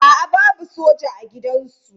A'a babu soja a gidansu.